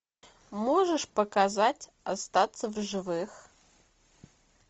можешь показать остаться в живых